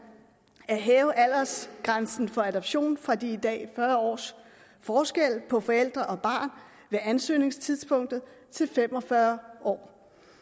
at hæve aldersgrænsen for adoption fra de i dag fyrre års forskel på forældre og barn ved ansøgningstidspunktet til fem og fyrre år